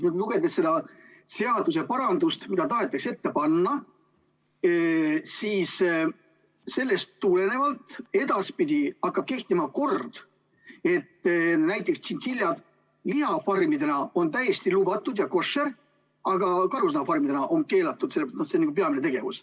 Lugedes seda seaduseparandust, mida tahetakse ette panna, saan aru, et sellest tulenevalt hakkab edaspidi kehtima kord, mille järgi näiteks tšintšiljad lihafarmides on täiesti lubatud ja koššer, aga karusloomafarmides on need keelatud.